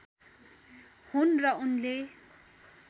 हुन् र उनले